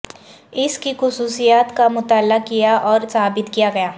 اس کی خصوصیات کا مطالعہ کیا اور ثابت کیا گیا